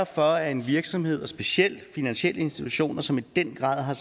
for at en virksomhed og specielt finansielle institutioner som i den grad har